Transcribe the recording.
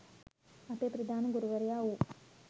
අපේ ප්‍රධාන ගුරුවරයා වූ